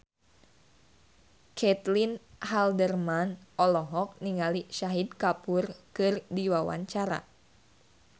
Caitlin Halderman olohok ningali Shahid Kapoor keur diwawancara